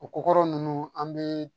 O ko kɔrɔ nunnu an be